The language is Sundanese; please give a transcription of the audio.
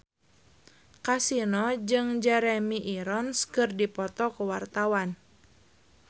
Kasino jeung Jeremy Irons keur dipoto ku wartawan